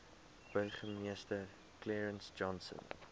burgemeester clarence johnson